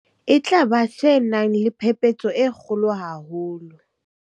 e tla ba se nang le phephetso e kgolo haholo.